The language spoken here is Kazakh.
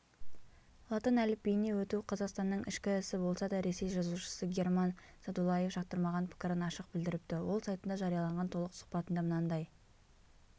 латын әліпбиіне өту қазақстанның ішкі ісі болса да ресей жазушысы герман садулаевжақтырмаған пікірін ашық білдіріпті ол сайтында жарияланған толық сұхбатында мынандай